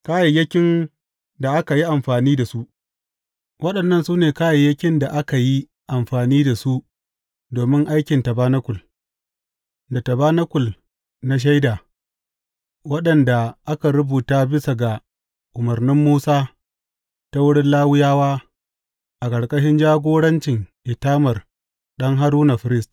Kayayyakin da aka yi amfani da su Waɗannan su ne kayayyakin da aka yi amfani da su domin aikin tabanakul, da tabanakul na Shaida, waɗanda aka rubuta bisa ga umarnin Musa ta wurin Lawiyawa, a ƙarƙashin jagorancin Itamar ɗan Haruna, firist.